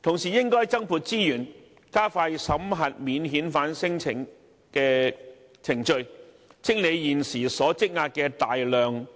同時，應要增撥資源，加快審核免遣返聲請的程序，清理現時積壓的大量